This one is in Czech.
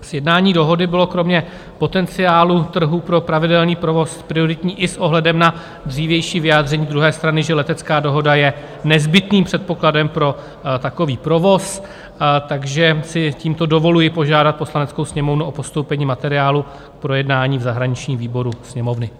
Sjednání dohody bylo kromě potenciálu trhu pro pravidelný provoz prioritní i s ohledem na dřívější vyjádření druhé strany, že letecká dohoda je nezbytným předpokladem pro takový provoz, takže si tímto dovoluji požádat Poslaneckou sněmovnu o postoupení materiálu k projednání v zahraničním výboru Sněmovny.